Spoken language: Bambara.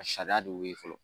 A sariya de y'o ye fɔlɔ